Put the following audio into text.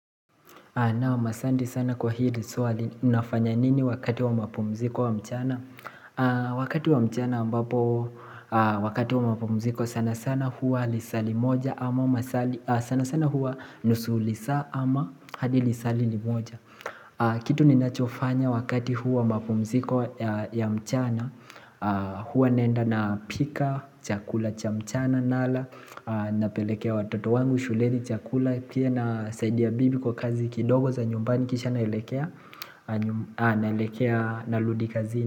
Naam, asanti sana kwa hili swali, nafanya nini wakati wa mapumziko wa mchana? Wakati wa mchana, ambapo, wakati wa mapumziko sana sana huwa lisali moja ama masaa, sana sana huwa nusu lisaa ama hadi lisaa limoja. Kitu ni nachofanya wakati huu wa mapumziko ya mchana huwa naenda napika chakula cha mchana, nala, napelekea watoto wangu shuleni chakula, pia nasaidia bibi kwa kazi kidogo za nyumbani kisha naelekea naelekea narudi kazini.